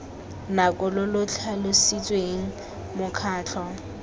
nako lo lo tlhalositsweng mokgatlho